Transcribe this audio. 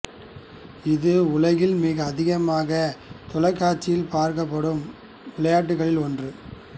இது உலகில் மிக அதிகமாகத் தொலைக்காட்சியில் பார்க்கப்படும் விளையாட்டுக்களில் ஒன்று